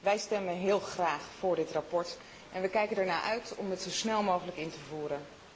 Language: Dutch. Wij stemmen heel graag vóór dit verslag, en we kijken ernaar uit om het zo snel mogelijk in te voeren.